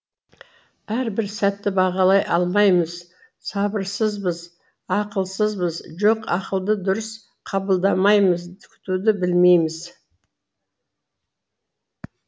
әр бір сәтті бағалай алмаймыз сабырсызбыз ақылсызбыз жоқ ақылды дұрыс қабылдамаймыз күтуді білмейміз